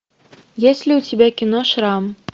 есть ли у тебя кино шрам